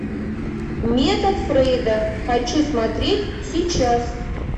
метод фрейда хочу смотреть сейчас